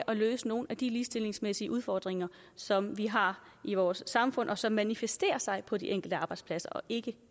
at løse nogle af de ligestillingsmæssige udfordringer som vi har i vores samfund og som manifesterer sig på de enkelte arbejdspladser ikke